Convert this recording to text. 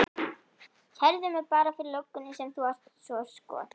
Kærðu mig bara fyrir löggunni sem þú ert svo skot